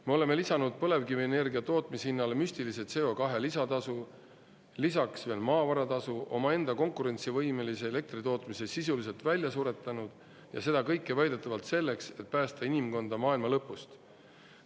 Me oleme lisanud põlevkivienergia tootmise hinnale müstilise CO2 lisatasu, lisaks veel maavara tasu, omaenda konkurentsivõimelise elektri tootmise sisuliselt välja suretanud, ja seda kõike väidetavalt selleks, et päästa inimkonda maailma lõpust.